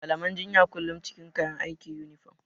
Malaman jinya kullum cikin kayan aiki (Yunifom).